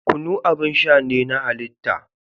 Kunu abin sha ne na halitta.